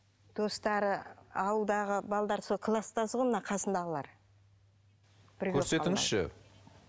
достары ауылдағы сол кластасы ғой мына қасындағылар көрсетіңізші